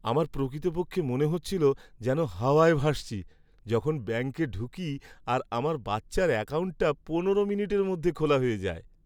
আমার প্রকৃতপক্ষে মনে হচ্ছিল যেন হাওয়ায় ভাসছি যখন ব্যাঙ্কে ঢুকি আর আমার বাচ্চার অ্যাকাউন্টটা পনেরো মিনিটের মধ্যে খোলা হয়ে যায়!